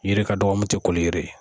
Yiri ka dɔgɔ mun ti koliyiri ye.